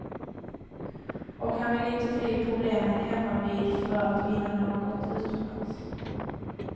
Och han vill inte fly problemen hemmavid för att vinna något utomlands.